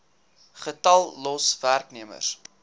getal los werknemers